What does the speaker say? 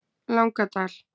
Langadal